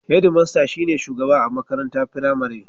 Hedimasta (Headmaster) shi ne shugaba a makaranta firamari.